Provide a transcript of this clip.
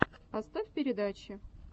поставь передачи